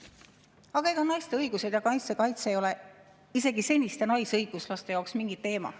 Aga ega naiste õigused ja naiste kaitse ei ole isegi seniste naisõiguslaste jaoks mingi teema.